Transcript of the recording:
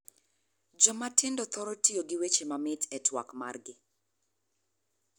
Joma tindo thorol tiyo gi weche mamit e twak mar gi.